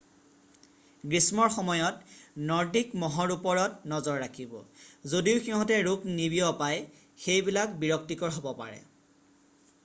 গ্ৰীষ্মৰ সময়ত নৰ্ডিক মহৰ ওপৰত নজৰ ৰাখিব যদিও সিহঁতে ৰোগ নিবিয়পাই সেইবিলাক বিৰক্তিকৰ হ'ব পাৰে